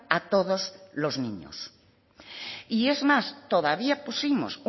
a todos los niños y es más todavía pusimos